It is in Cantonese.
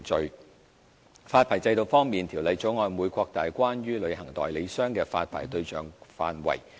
在發牌制度方面，《條例草案》會擴大關於旅行代理商的發牌對象範圍。